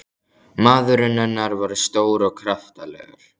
Maðurinn hennar var stór og kraftalegur.